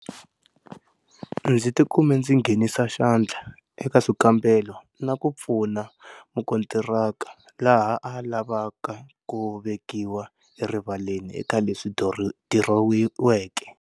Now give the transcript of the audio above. Ndzi tikume ndzi nghenisa xandla eka swikambelo na ku pfuna mukontiraka laha a lavaka ku vekiwa erivaleni eka leswi dirowiweke.